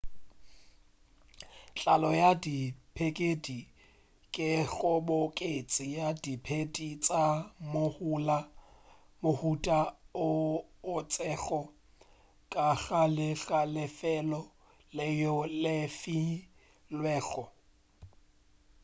tlalo ya diphedi ke kgoboketšo ya diphedi tša mohuta o itšego ka gare ga lefelo leo le filwego